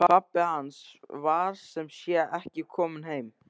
Pabbi hans var sem sé ekki kominn heim.